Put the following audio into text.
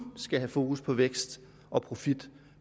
skal have fokus på vækst og profit